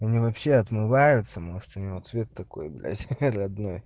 мне вообще отмываются может у него цвет такой блять родной